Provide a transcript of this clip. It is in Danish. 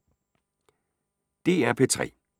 DR P3